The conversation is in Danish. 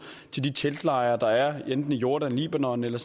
til de teltlejre der er i jordan libanon eller